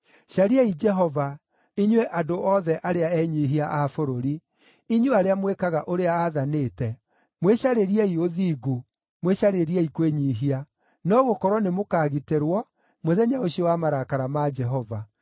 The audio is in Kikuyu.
Cariai Jehova, inyuĩ andũ othe arĩa enyiihia a bũrũri, inyuĩ arĩa mwĩkaga ũrĩa aathanĩte. Mwĩcarĩriei ũthingu, mwĩcarĩriei kwĩnyiihia; no gũkorwo nĩmũkagitĩrwo mũthenya ũcio wa marakara ma Jehova.